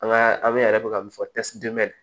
An ka a bɛ yɛrɛ bɛ ka min fɔ